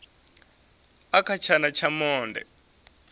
i kha tshana tsha monde